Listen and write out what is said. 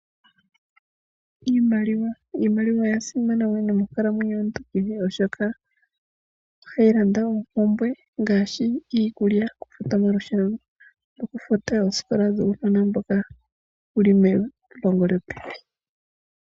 Iimaliwa, iimaliwa oya simana wo nomonkala mwenyo yomuntu kehe oshoka, ohayi landa oompumbwe ngaashi, iikulya, okufuta omalusheno, okufuta oosikola dhuunona mboka wuli pelongo lyopevi.